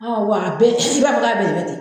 Ɔ wa a bɛɛ siya de bɛ a ni Yen yɔrɔ cɛ.